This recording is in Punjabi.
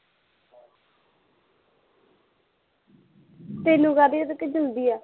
ਤੈਨੂੰ, ਕਾਹਦੀ ਉਹਦੇ ਕੋਲ ਜਲਦੀ ਆ